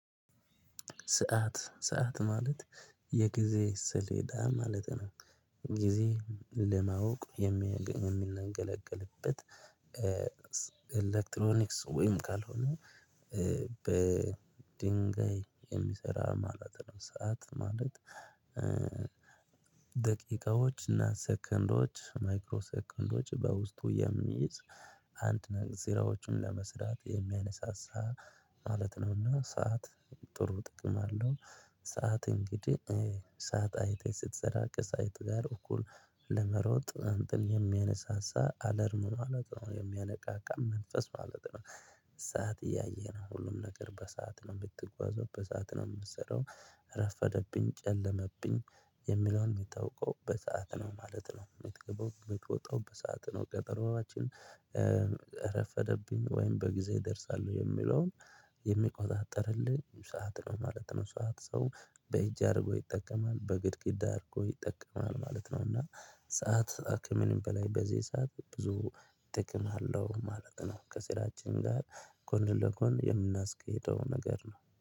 ሰዓት ማለት የጊዜ ስሌዳ ማለት ነው ጊዜን ለማወቅ የምንገለገልበት ኤሌክትሮኒክስ ወይም ካልሆነ በድንጋይ የሚሰራ ማለት ነው ሰዓት ማለት ደቂቃዎች እና ሰከንዶች ማይክሮ ሰከንዶች በውስጡ የሚይዝ አንድ ነገር ዜሮዎችን ለመስራት የሚያነሳሳ ማለት ነውና ሰዓት ጥሩ ጥቅም አለው ሰዓት እንግዲህ ሰዓት አይተህ ስትሰራ ከሰአት ጋር እኩል ለመሮጥ እንተን የሚያነሳሳ አላርም ማለት ነው የሚያነቃቃ መንፈስ ማለት ነው ሰዓት እያየህነው ሁሉም ነገር በሰአት ነው የምትጓዘው በሰአት ነው የምትሰራው ረፈደብኝ ጨለመብኝ የሚለውን የምታውቀው በሰአት ነው ማለት ነው የምትገባው የምትወጣው በሰአት ነው ቀጠሮአችን ረፈደብኝ ወይም በጊዜ እደርሳለሁ የሚለውን የሚቆጣጠርልን ሰዓት ነው ማለት ነው ሰዓት ሰው በእጅ አድርጎ ይጠቀማል በግድግዳ አድርጎ ይጠቀማል ማለት ነው እና ሰዓት ከምንም በላይ በዚህ ሰዓት ብዙ ጥቅም አለው ማለት ነው። ከስራችን ጋር ጎን ለጎን የምናስኬደው ነገር ነው